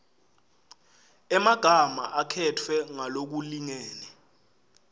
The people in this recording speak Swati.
emagama akhetfwe ngalokulingene